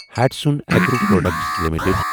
Hatsun agro product limited